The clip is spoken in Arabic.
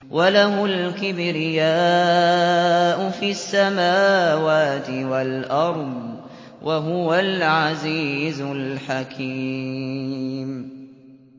وَلَهُ الْكِبْرِيَاءُ فِي السَّمَاوَاتِ وَالْأَرْضِ ۖ وَهُوَ الْعَزِيزُ الْحَكِيمُ